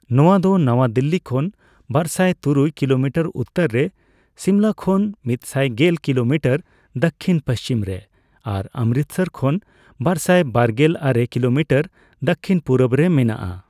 ᱱᱚᱣᱟ ᱫᱚ ᱱᱟᱣᱟ ᱫᱤᱞᱞᱤ ᱠᱷᱚᱱ ᱵᱟᱨᱥᱟᱭ ᱛᱩᱨᱩᱭ ᱠᱤᱞᱳᱢᱤᱴᱟᱨ ᱩᱛᱛᱚᱨ ᱨᱮᱹ ᱥᱤᱢᱞᱟ ᱠᱷᱚᱱ ᱢᱤᱛᱥᱟᱭ ᱜᱮᱞ ᱠᱤᱞᱳᱢᱤᱴᱟᱨ ᱫᱚᱠᱷᱤᱱᱼᱯᱚᱥᱪᱷᱤᱢ ᱨᱮ ᱟᱨ ᱚᱢᱨᱤᱛᱥᱚᱨ ᱠᱷᱚᱱ ᱵᱟᱨᱥᱟᱭ ᱵᱟᱨᱜᱮᱞ ᱟᱨᱮ ᱠᱤᱞᱳᱢᱤᱴᱟᱨ ᱫᱚᱠᱷᱤᱱᱼᱯᱩᱨᱩᱵᱽ ᱨᱮ ᱢᱮᱱᱟᱜᱼᱟ᱾